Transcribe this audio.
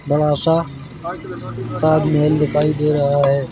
बड़ा सा ताजमहल दिखाई दे रहा है।